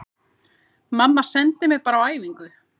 Mamma sendi mig bara á æfingu